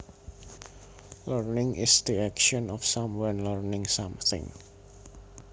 Learning is the action of someone learning something